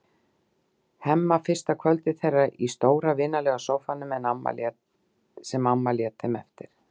Hemma fyrsta kvöldið þeirra í stóra en vinalega sófanum sem amma hans lét þeim eftir.